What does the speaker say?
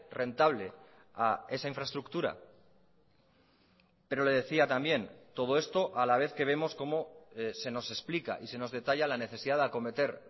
rentable a esa infraestructura pero le decía también todo esto a la vez que vemos como se nos explica y se nos detalla la necesidad de acometer